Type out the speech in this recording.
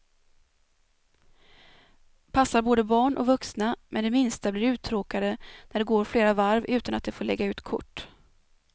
Passar både barn och vuxna, men de minsta blir uttråkade när det går flera varv utan att de får lägga ut kort.